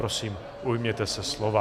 Prosím, ujměte se slova.